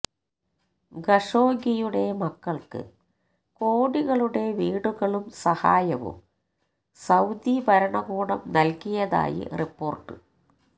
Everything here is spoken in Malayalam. ഖഷോഗിയുടെ മക്കള്ക്ക് കോടികളുടെ വീടുകളും സഹായവും സൌദി ഭരണകൂടം നല്കിയതായി റിപ്പോര്ട്ട്